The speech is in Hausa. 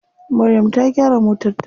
Maryam ta gyara motar ta.